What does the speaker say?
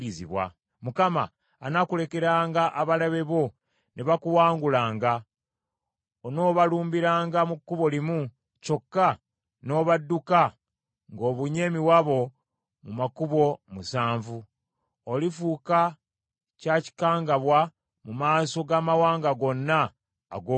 Mukama anaakulekeranga abalabe bo ne bakuwangulanga. Onoobalumbiranga mu kkubo limu, kyokka n’obadduka ng’obunye emiwabo mu makubo musanvu. Olifuuka kyakikangabwa mu maaso g’amawanga gonna ag’oku nsi.